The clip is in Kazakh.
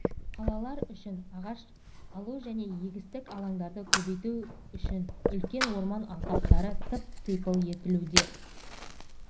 қалалар үшін ағаш алу және егістік алаңдарды көбейту үшін үлкен орман алқаптары тып-типыл етілуде